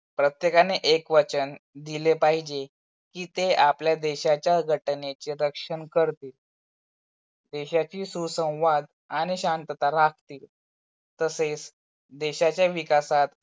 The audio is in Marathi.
प्रत्यकाने एक वचन दिले पाहिजे कि ते आपल्या देशाच्या घटनेचे रक्षण करतील. देशाची सुसंवाद आणि शांतता राखतील. तसेच देशाच्या विकासात